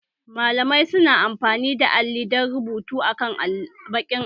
Malamai su na amfani da alli don rubutu akan baƙin allo